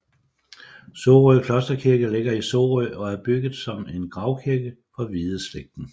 Sorø Klosterkirke ligger i Sorø og er bygget som en gravkirke for Hvideslægten